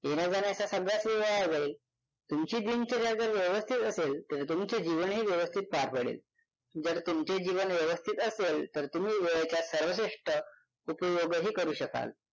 येण्याजाण्याचा सगळाच वेळ वाया जाईल तुमची दिनचर्या जर व्यवस्थित असेल तर तुमचे जीवनही व्यवस्थित पार पडेल. जर तुमचे जीवन व्यवस्थित असेल तर तुम्ही वेळेचा सर्वश्रेष्ठ उपयोगही करू शकाल